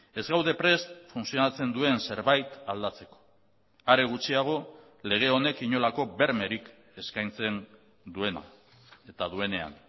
ez gaude prest funtzionatzen duen zerbait aldatzeko are gutxiago lege honek inolako bermerik eskaintzen duena eta duenean